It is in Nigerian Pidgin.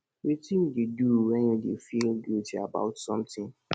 wetin you dey do when you dey feel guilty about something